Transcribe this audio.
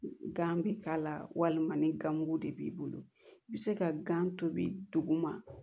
Gan bi k'a la walima ni ganmugu de b'i bolo i bi se ka gan tobi duguma